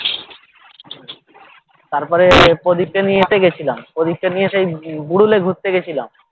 তারপরে প্রদীপ কে নিয়ে এতে গেছিলাম প্রদীপ কে নিয়ে সেই বুড়ুলে ঘুরতে গেছিলাম